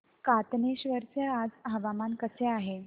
कातनेश्वर चे आज हवामान कसे आहे